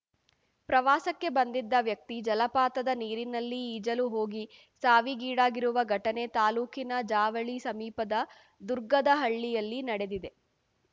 ಪ್ರವಾಸಕ್ಕೆ ಬಂದಿದ್ದ ವ್ಯಕ್ತಿ ಜಲಪಾತದ ನೀರಿನಲ್ಲಿ ಈಜಲು ಹೋಗಿ ಸಾವಿಗೀಡಾಗಿರುವ ಘಟನೆ ತಾಲೂಕಿನ ಜಾವಳಿ ಸಮೀಪದ ದುರ್ಗದಹಳ್ಳಿಯಲ್ಲಿ ನಡೆದಿದೆ